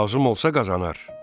Lazım olsa qazanar.